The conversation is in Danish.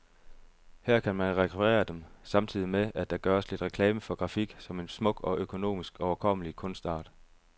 Her kan man rekvirere dem, samtidig med at der gøres lidt reklame for grafik som en smuk og økonomisk overkommelig kunstart.